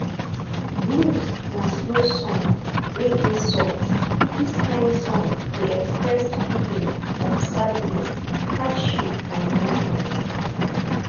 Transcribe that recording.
blues na slow song wey dey soft this kind song dey express feeling of sadness hardship and emotion